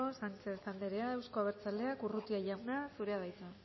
sánchez anderea euzko abertzaleak urrutia jauna zurea da hitza